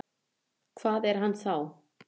Hvað er hann þá?